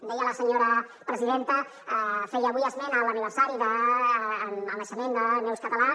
deia la senyora presidenta feia avui esment a l’aniversari del naixement de la neus català